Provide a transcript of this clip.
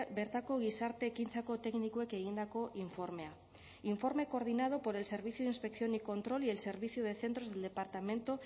bertako gizarte ekintzako teknikoek egindako informea informe coordinado por el servicio de inspección y control y el servicio de centros del departamento